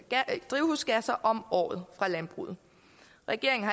af drivhusgasser om året fra landbruget regeringen